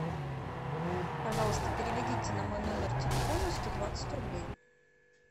пожалуйста переведите на мой номер телефона сто двадцать рублей